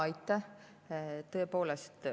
Aitäh!